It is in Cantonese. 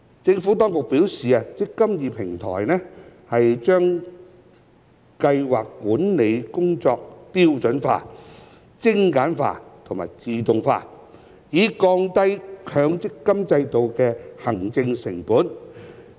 政府當局表示，"積金易"平台把計劃管理工作標準化、精簡化和自動化，以降低強積金制度的行政成本。